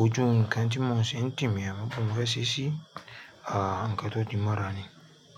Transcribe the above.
ojú nǹkan tí mo ṣe ń tì mí á mọ̀ kini mo fẹ́ ṣe ṣí, ah nǹkan tó ti mọ́ra ni.